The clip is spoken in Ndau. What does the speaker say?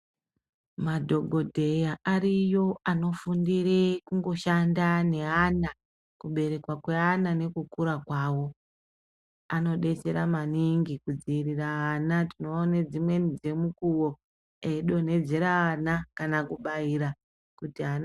Madhokodheya ariyo anofundire kungoshanda neana kuberekwa kweana nekukura kwavo anodetsera maningi kudziirira ana tinoone dzimweni dzemukuwo eidonhedzera ana kana kubaira kuti ana.